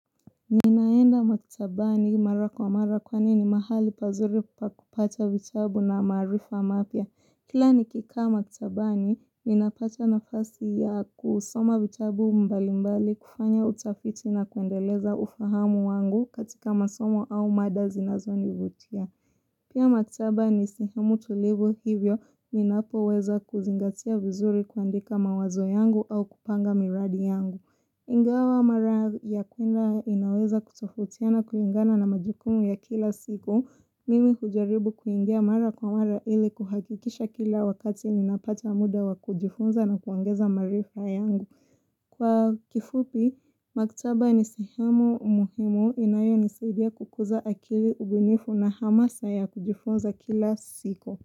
Ninaenda maktabani mara kwa mara kwani ni mahali pazuri pakupata vitabu na maarifa mapya. Kila nikikaa maktabani, ninapata nafasi ya kusoma vitabu mbali mbali kufanya utafiti na kuendeleza ufahamu wangu katika masomo au mada zinazo nivutia. Pia maktaba ni sihemu tulivu hivyo, ninapo weza kuzingatia vizuri kuandika mawazo yangu au kupanga miradi yangu. Ingawa mara ya kuenda inaweza kutofautiana kulingana na majukumu ya kila siku, mimi hujaribu kuingia mara kwa mara ili kuhakikisha kila wakati ninapata muda wa kujifunza na kuongeza maarifa yangu. Kwa kifupi, maktaba nisehemu muhimu inayo nisaidia kukuza akili ubunifu na hamasa ya kujifunza kila siku.